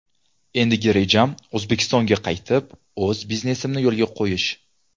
Endigi rejam O‘zbekistonga qaytib, o‘z biznesimni yo‘lga qo‘yish.